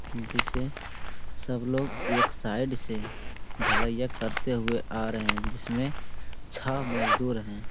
जिसे सब लोग एक साइड से ढलाईया करते हुए आ रहें हैं जिसमें छह मजदुर हैं।